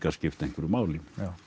skipt einhverju máli